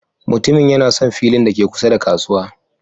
Mutumin yana son filin da ke kusa da kasuwa.